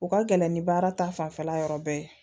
U ka gɛlɛn ni baara ta fanfɛla yɔrɔ bɛɛ ye